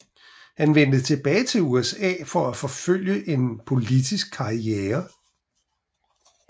Han vendte tilbage til USA for at forfølge en politisk karriere